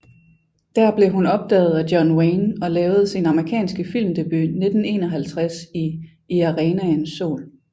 Der blev hun opdaget af John Wayne og lavede sin amerikanske filmdebut 1951 i I arenaens sol